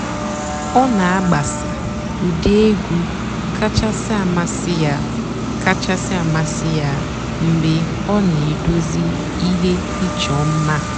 ọ́ nà-àgbàsà ụ́dị́ ègwú kàchàsị́ àmásị́ yá kàchàsị́ àmásị́ yá mg̀bé ọ́ nà-èdozí íhé ìchọ́ mmá.